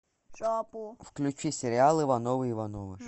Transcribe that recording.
включи сериал ивановы ивановы